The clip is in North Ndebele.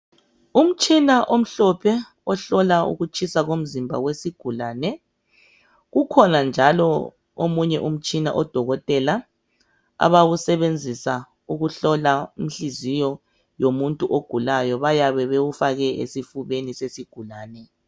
Umtshina omhlophe ohlola ukutshisa kwomzimba wesigulane kukhona njalo omunye umtshina odokotela aba abawusebenzisa ukuhlola inhliziyo yomuntu ogulayo bayabe bewufake esifubeni yesigulane